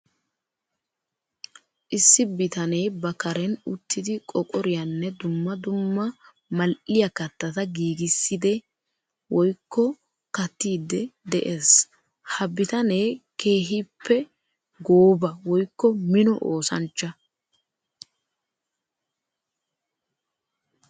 Issi bitane ba karen uttiddi qooqoriyanne dumma dumma mali'iya kattata giigisidde woykko kattidde de'ees. Ha bitane keehippebgooba woykko mino oosanchcha.